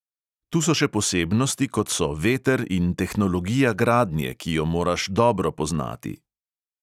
Tu so še posebnosti, kot so veter in tehnologija gradnje, ki jo moraš dobro poznati.